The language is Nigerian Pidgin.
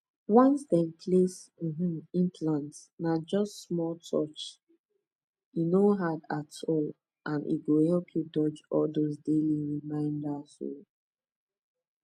once dem place um implant na just small touch e no hard at all and e go help you dodge all those daily reminders um